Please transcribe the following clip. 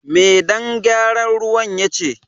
Me dan gyaran ruwan ya ce?